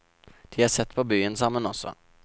De er sett på byen sammen også.